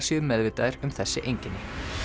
séu meðvitaðir um þessi einkenni